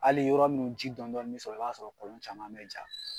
Ali yɔrɔ munnu ji dɔn dɔni sɔrɔ i b'a sɔrɔ olu caman bi ja